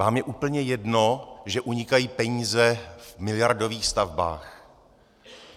Vám je úplně jedno, že unikají peníze v miliardových stavbách?